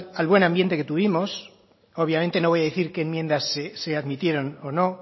al buen ambiente que tuvimos obviamente no voy a decir qué enmiendas se admitieron o no